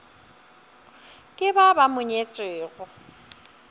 ke ba ba mo nyetšego